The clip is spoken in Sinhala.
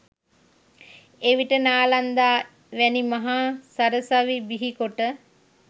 එවිට නාලන්දා වැනි මහා සරසවි බිහිකොට